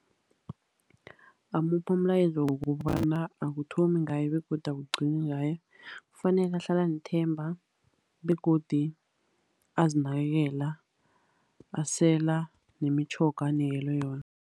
Ngingamupha umlayezo wokobana akuthomi ngaye, begodu akugcini ngaye. Kufanele ahlale anethemba begodu azinakelela. Asela nemitjhoga anikelwe yona.